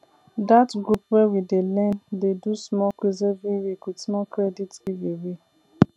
that group wey we dey learn dey do small quiz every week with small credit giveaway